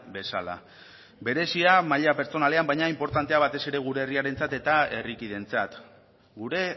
bezala berezia maila pertsonalean baina inportantea batez ere gure herriarentzat eta herrikideentzat gure